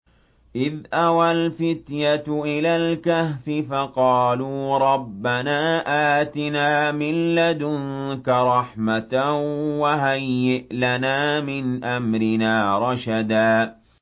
إِذْ أَوَى الْفِتْيَةُ إِلَى الْكَهْفِ فَقَالُوا رَبَّنَا آتِنَا مِن لَّدُنكَ رَحْمَةً وَهَيِّئْ لَنَا مِنْ أَمْرِنَا رَشَدًا